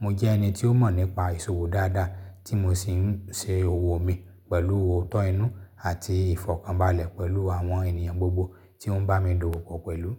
Mo jẹ́ ẹni tí ó mọ̀ nípa ìṣòwò dáadáa tí mo sì ń ṣe òwò mi pẹ̀lú òótọ́ inú àti ìfọ̀kànbalẹ̀ pẹ̀lú àwọn ènìyàn gbogbo tí won ń bá mi dòwó pọ̀ pẹ̀lú.